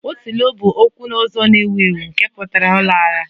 Otilo 'bụ okwu ọzọ na-ewu ewu nke pụtara 'ọ lara'